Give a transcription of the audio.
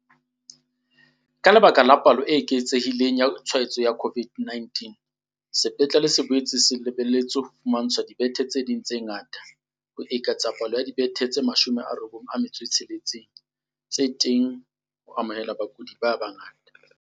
Ka lebaka la palo e eketsehi leng ya ditshwaetso tsa COVID-19, sepetlele se boetse se le beletse ho tla fumantshwa dibethe tse ding tse ngata, ho eketsa palo ya dibethe tse 96 tse teng ha jwale ho amohela bakudi ba bangata.